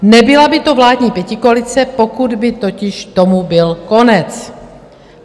Nebyla by to vládní pětikoalice, pokud by totiž tomu byl konec.